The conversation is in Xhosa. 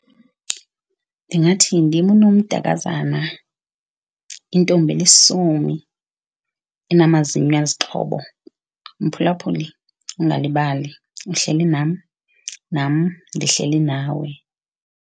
Ndingathi ndim unomdakazana intombi elisomi enamazinyo azixhobo, mphulaphuli ungalibali uhleli nam nam ndihleli nawe.